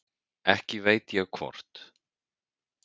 Ekki veit ég hvort